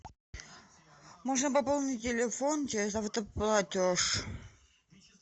можно пополнить телефон через автоплатеж